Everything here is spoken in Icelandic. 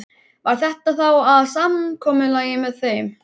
Varð þetta þá að samkomulagi með þeim.